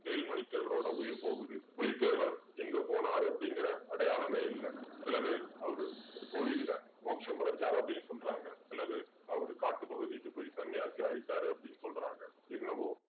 வேலுமணி தேவரோட உயிர் போகுது புலிதேவர் எங்க போனார் அப்படிங்கிற அடையாளமே இல்ல சில பேர் அவரு ஒரு கோயில்ல மோட்சம் அடைஞ்சாரு அப்படின்னு சொல்றாங்க சில பேர் அவர் காட்டுப்பகுதிக்கு போய் சன்னியாசி ஆயிட்டாரு அப்படின்னு சொல்றாங்க என்னவோ